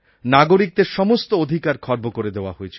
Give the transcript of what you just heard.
নাগরিকদের সমস্ত অধিকার খর্ব করে দেওয়া হয়েছিল